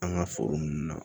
An ka foro nunnu na